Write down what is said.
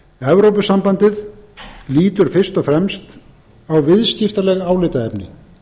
evrópusambandið lítur fyrst og fremst á viðskiptaleg álitaefni